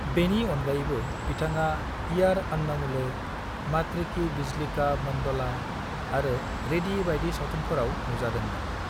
बेनि अनगायैबो, बिथाङा इयार अन्नमुले, मातृ की बिजली का मंडोला आरो रेडी बायदि सावथुनफोराव नुजादोंमोन।